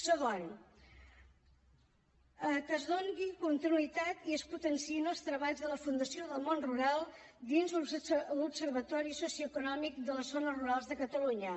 segon que es doni continuïtat i es potenciïn els treballs de la fundació del món rural dins l’observatori socioeconòmic de les zones rurals de catalunya